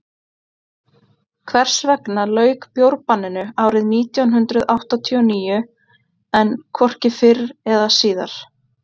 hvers vegna lauk bjórbanninu árið nítján hundrað áttatíu og níu en hvorki fyrr eða síðar